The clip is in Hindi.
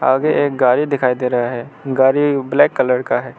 आगे एक गाड़ी दिखाई दे रहा है गाड़ी ब्लैक कलर का है।